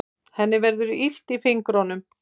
Henni verður illt í fingrunum.